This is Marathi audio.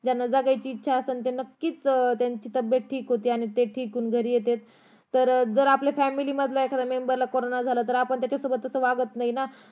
ज्यांना जगायची इच्छा असन त्याला नक्कीच त्यांची तब्बेत ठीक होती आणि ते ठीक होऊन घरी येतात जर आपल्या family मधल्या member ला कारोंना झाला तर आपण त्याच्यासोबत असं वागत नाही ना